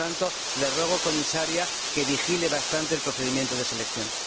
Por tanto, le ruego, Comisaria, que vigile bastante el procedimiento de selección.